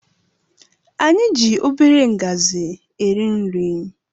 Anyị gị obere ngazi eri nri